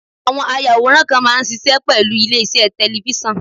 Àwọn ayàwòrán kan máa ń ṣiṣẹ́ pẹ̀lú ilé-iṣẹ́ tẹ̀lifísàn